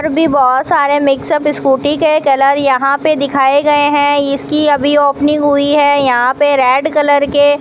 और भी बहोत सारे मिक्सअप इस स्कूटी के कलर यहां पे दिखाए गये है इसकी अभी ओपनिंग हुई है यहां पे रेड कलर के--